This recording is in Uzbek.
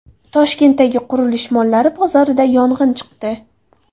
Toshkentdagi qurilish mollari bozorida yong‘in chiqdi.